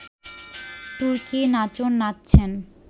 তুর্কি-নাচন নাচছেন